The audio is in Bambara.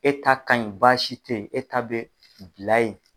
E ta ka ɲi basi tɛ yen e ta bɛ bila ye.